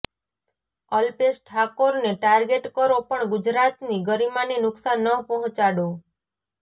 અલ્પેશ ઠાકોરને ટાર્ગેટ કરો પણ ગુજરાતની ગરિમાને નુકસાન ન પહોંચાડો